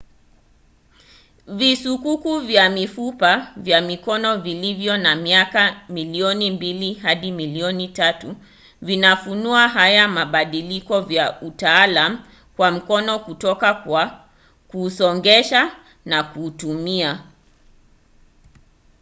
visukuku vya mifupa ya mikono vilivyo na miaka milioni mbili hadi milioni tatu vinafunua haya mabadiliko ya utaalam wa mkono kutoka kwa kuusongesha na kuutumia